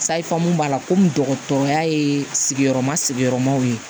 Sayifamu b'a la komi dɔgɔtɔrɔya ye sigiyɔrɔma sigiyɔrɔmaw ye